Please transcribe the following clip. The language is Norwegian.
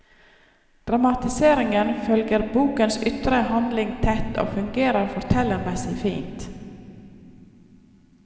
Dramatiseringen følger bokens ytre handling tett og fungerer fortellermessig fint.